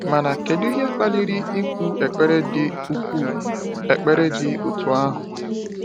Mana kedu ihe kpaliri ikwu ekpere dị ikwu ekpere dị otú ahụ?